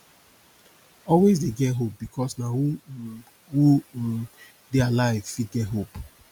always dey get hope bikos na who um who um dey alive fit get hope